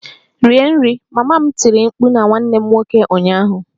Rie nri! Mama m tiri mkpu na nwanne m nwoke ụnyaahụ